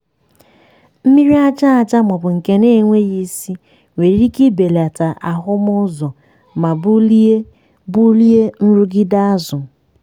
mmiri aja aja ma ọ bụ nke na-enweghị isi nwere ike ibelata ahụmụ ụzọ ma bulie bulie nrụgide azụ.